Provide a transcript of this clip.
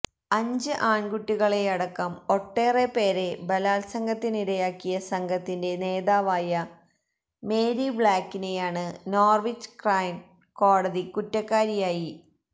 അഞ്ച് ആൺകുട്ടികളെയടക്കം ഒട്ടേറെപ്പേരെ ബലാൽസംഗത്തിനിരയാക്കിയ സംഘത്തിന്റെ നേതാവായ മേരി ബ്ലാക്കിനെയാണ് നോർവിച്ച് ക്രൈൺ കോടതി കുറ്റക്കാരിയായി